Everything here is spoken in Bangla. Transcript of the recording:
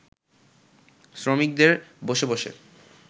শ্রমিকদের বসে বসে